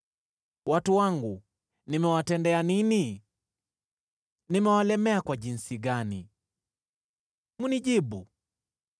“Watu wangu, nimewatendea nini? Nimewalemea kwa jinsi gani? Mnijibu.